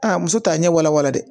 Aa muso t'a ɲɛ wala wala dɛ